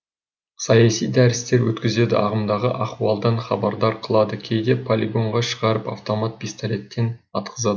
саяси дәрістер өткізеді ағымдағы ахуалдан хабардар қылады кейде полигонға шығарып автомат пистолеттен атқызады